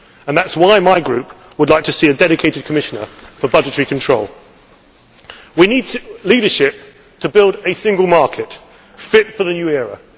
That is why my group would like to see a dedicated commissioner for budgetary control. We need leadership to build a single market fit for the new